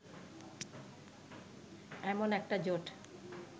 এমন একটা জোট